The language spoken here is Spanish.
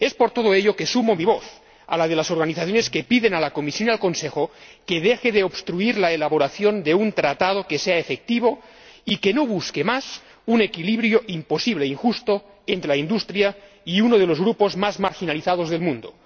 Es por todo ello que sumo mi voz a la de las organizaciones que piden a la Comisión y al Consejo que dejen de obstruir la elaboración de un Tratado que sea efectivo y que dejen de buscar un equilibrio imposible e injusto entre la industria y uno de los grupos más marginalizados del mundo.